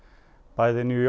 bæði New